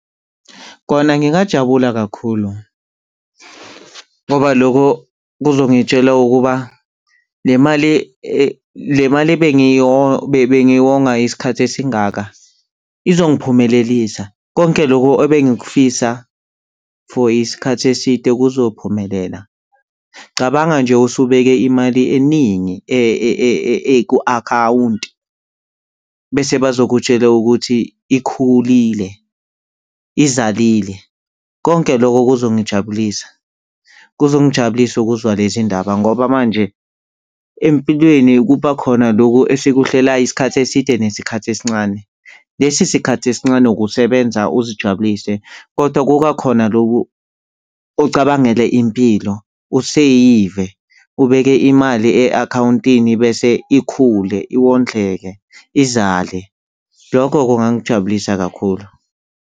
Kona ngingajabula kakhulu ngoba loko kuzongitshela ukuba le mali le mali ebengiyonga isikhathi esingaka izongiphumelelisa konke lokho ebengikufisa for isikhathi eside kuzophumelela. Cabanga nje usubeke imali eningi ku-akhawunti bese bazokutshela ukuthi ikhulile, izalile. Konke lokho kuzongijabulisa. Kuzongijabulisa ukuzwa lezi ndaba ngoba manje empilweni kuba khona lokhu esukuhlela isikhathi eside nesikhathi esincane. Lesi sikhathi esincane kusebenza uzijabulise kodwa kuka khona loku ucabangele impilo, useyive ubeke imali e-akhawuntini, bese ikhule, iwondleke, izale. Lokho kungangijabulisa kakhulu.